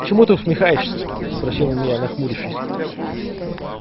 чему ты усмехаешься спросил он меня нахмурмвшись